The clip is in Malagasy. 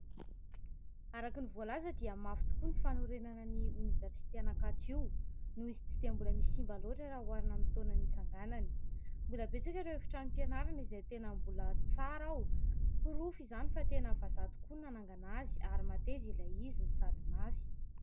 Araka ny voalaza dia mafy tokoa ny fanorenana ny oniversity Ankatso io noho izy tsy dia mbola misy simba loatra raha hoarina amin'ny taona nitsanganany, mbola betsaka ireo efitrano fianarana izay tena mbola tsara ao ; porofo izany fa tena vazaha tokoa ny nanangana azy ary tena mateza ilay izy no sady mafy.